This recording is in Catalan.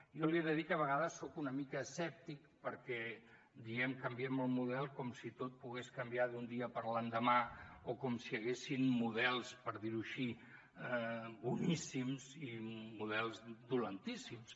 jo li he de dir que a vegades soc una mica escèptic perquè diem canviem el model com si tot pogués canviar d’un dia per l’endemà o com si hi haguessin models per dir ho així boníssims i models dolentíssims